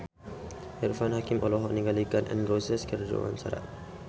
Irfan Hakim olohok ningali Gun N Roses keur diwawancara